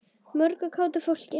Mörgu kátu fólki.